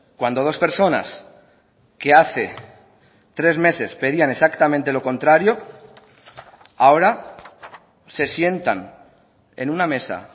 cuando dos personas que hace tres meses pedían exactamente lo contrario ahora se sientan en una mesa